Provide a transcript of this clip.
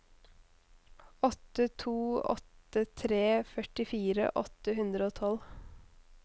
åtte to åtte tre førtifire åtte hundre og tolv